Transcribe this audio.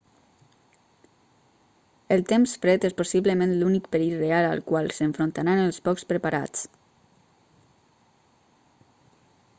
el temps fred és possiblement l'únic perill real al qual s'enfrontaran els poc preparats